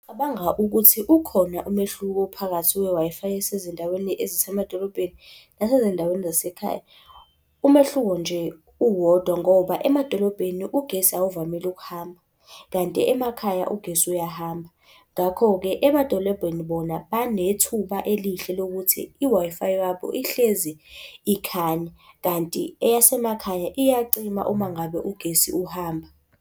Cabanga ukuthi ukhona umehluko phakathi kwe-Wi-Fi yasezindaweni ezisemadolobhedeni, nasezindaweni zasekhaya. Umehluko nje uwodwa ngoba, emadolobheni ugesi awuvamile ukuhamba, kanti emakhaya ugesi uyahamba, ngakho-ke emadolobheni bona banethuba elihle lokuthi i-Wi-Fi yabo ihlezi ikhanya, kanti eyasemakhaya iyacima uma ngabe ugesi uhamba.